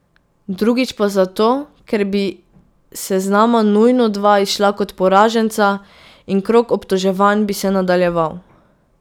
Drugič pa zato, ker bi s seznama nujno dva izšla kot poraženca in krog obtoževanj bi se nadaljeval.